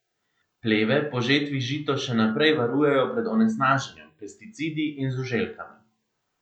Pleve po žetvi žito še naprej varujejo pred onesnaženjem, pesticidi in žuželkami.